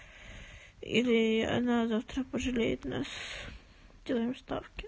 или она завтра пожелеет нас делаем ставки